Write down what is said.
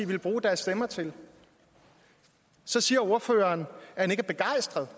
ville bruge deres stemmer til så siger ordføreren at han ikke er begejstret